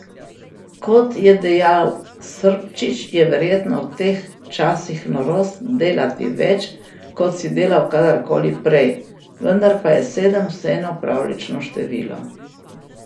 Kot je dejal Srpčič, je verjetno v teh časih norost delati več, kot si delal kadarkoli prej, vendar pa je sedem vseeno pravljično število.